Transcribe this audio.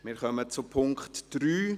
Wir kommen zum Punkt 3;